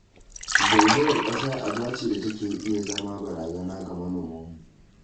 Zaizayar ƙasa aba ce da take iya zama barazana ga manomanmu